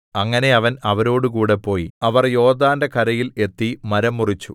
അങ്ങനെ അവൻ അവരോടുകൂടെ പോയി അവർ യോർദ്ദാന്റെ കരയിൽ എത്തി മരം മുറിച്ചു